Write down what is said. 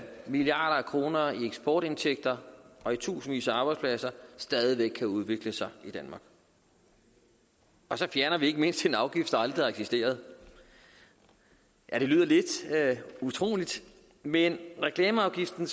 milliarder af kroner i eksportindtægter og i tusindvis af arbejdspladser stadig væk kan udvikle sig i danmark og så fjerner vi ikke mindst en afgift der aldrig har eksisteret ja det lyder lidt utroligt men reklameafgiften